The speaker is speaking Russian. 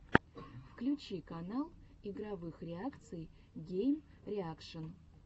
включи канал игровых реакций геймреакшн